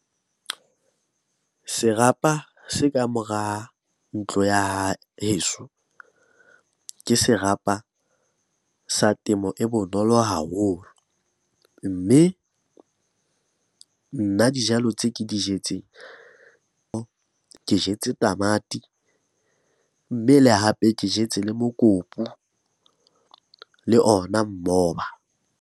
Serapa se ka mora ntlo ya heso, ke serapa sa temo e bonolo haholo. Mme nna dijalo tse ke di jetseng, ke jetse tamati, mme le hape ke jetse le mokopu le ona mmoba.